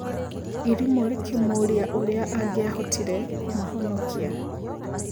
Irimũ rĩkĩmũũrĩa ũrĩa angiahotire kũmahonokia.